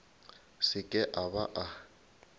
se ke a ba a